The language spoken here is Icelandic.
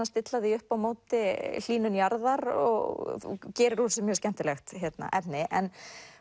stilla því upp á móti hlýnun jarðar og gerir úr þessu mjög skemmtilegt efni en